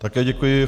Také děkuji.